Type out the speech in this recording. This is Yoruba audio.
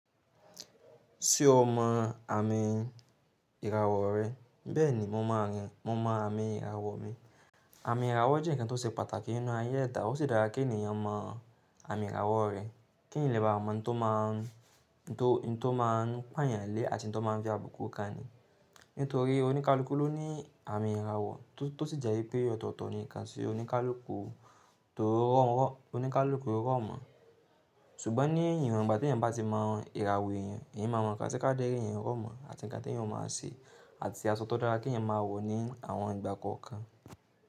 Ṣé o mọ àmì ìràwọ̀ rẹ? Bẹẹni mo mọ arin, mo mọ àmì ìràwọ mi àmì ìràwọ̀ jẹ́ ǹkan tó ṣe pàtàkì nínú ayé ẹ̀dà. Ó sì dára kí ènìyàn mọ àmì ìràwọ̀ rẹ̀. Ki èèyàn lè bá mọ ohùn to ma n pọn yan le àti ùn tó má n fi abùku kan ní nítorí oníkálukú ló ní àmì ìràwọ̀ tó sì jẹ́ wípé ọ̀tọ̀ọ̀tọ̀ ni kan ti onikaluku oníkálukú tó rọ́ mọ̀. Ṣùgbọ́n ní ìwọ̀n ìgbà tí ènìyàn bá ti mọ ìràwọ̀ ènìyàn, ènìyàn máa mọ nǹkan tí kádara eeyan rọ́ mọ̀ àti ǹkan tí ènìyàn ó máa ṣe àti asọ to dára kí ènìyàn máa wọ ní àwọn ìgbà kọ̀ọ̀kan.